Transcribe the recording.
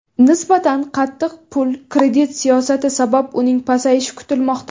Nisbatan qattiq pul-kredit siyosati sabab uning pasayishi kutilmoqda.